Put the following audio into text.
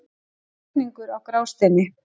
Flutningur á Grásteini.